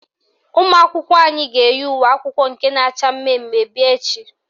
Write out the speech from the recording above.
Ụmụakwụkwọ anyị ga-eyi uwe akwụkwọ nke na-acha mmemme bịa echi